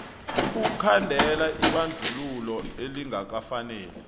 ukukhandela ibandlululo elingakafaneli